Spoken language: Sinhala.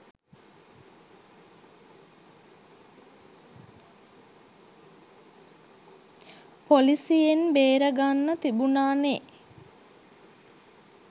පොලිසියෙන් බේරගන්න තිබුණා නේ?